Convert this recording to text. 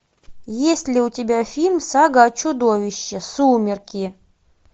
есть ли у тебя фильм сага о чудовищах сумерки